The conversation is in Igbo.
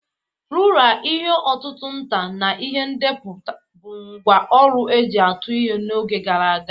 Rula, ihe ọ̀tụ̀tụ̀ nta, na ihe teepu bụ ngwá ọrụ e ji atụ ihe n'oge gara aga.